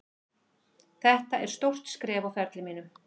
Þetta er stórt skref á ferli mínum,